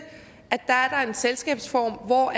er en selskabsform hvor